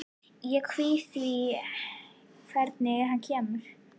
Ég kvíði því hvernig hann kemur.